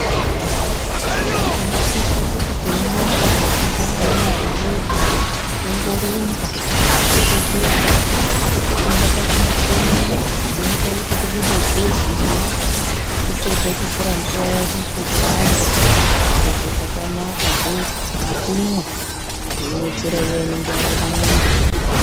Tinosisa kuti teimuka mangwanani ega ega tomborumba topetuka tomboenda pachimuchini chinoita kuti tibude ziya topedza totora mvura yedu toshamba zvirozvo zvakanaka izvozvo nekunwa teiwedzera iya inenge yabuda mumwiri.